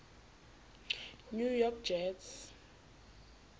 new york jets